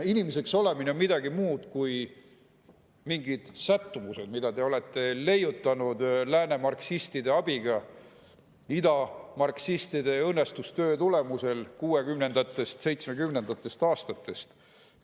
Inimeseks olemine on midagi muud kui mingid sättumused, mida te olete leiutanud lääne marksistide abiga ida marksistide õõnestustöö tulemusel kuuekümnendatest, seitsmekümnendatest aastatest alates.